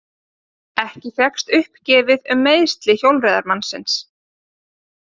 Ekki fékkst uppgefið um meiðsli hjólreiðamannsins